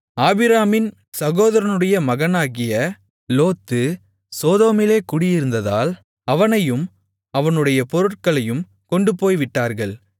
ஆபிராமின் சகோதரனுடைய மகனாகிய லோத்து சோதோமிலே குடியிருந்ததால் அவனையும் அவனுடைய பொருட்களையும் கொண்டுபோய்விட்டார்கள்